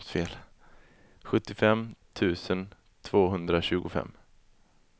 sjuttiofem tusen tvåhundratjugofem